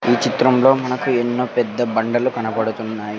ఈ చిత్రంలో మనకు ఎన్నో పెద్ద బండలు కనబడుతున్నాయి.